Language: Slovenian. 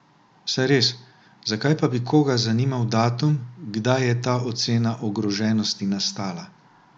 Saj res, zakaj pa bi koga zanimal datum, kdaj je ta ocena ogroženosti nastala?